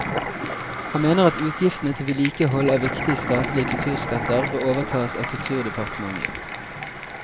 Han mener at utgiftene til vedlikehold av viktige statlige kulturskatter bør overtas av kulturdepartementet.